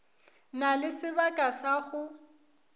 na le sebaka sa go